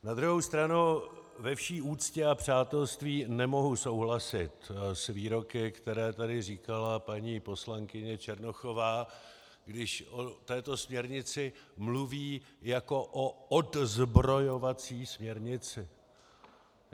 Na druhou stranu, ve vší úctě a přátelství nemohu souhlasit s výroky, které tady říkala paní poslankyně Černochová, když o této směrnici mluví jako o odzbrojovací směrnici.